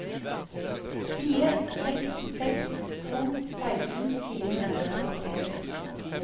fire seks seks to seksten fire hundre og syttiseks